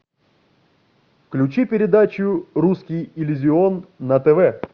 включи передачу русский иллюзион на тв